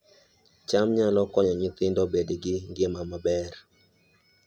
cham nyalo konyo nyithindo bedo gi ngima maber